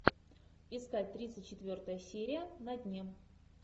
искать тридцать четвертая серия на дне